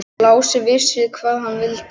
Lási vissi hvað hann vildi.